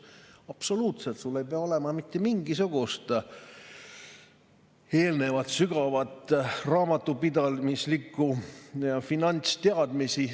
Absoluutselt ei pea sul olema mingisugust eelnevat sügavat raamatupidamise ja finantsteadmist.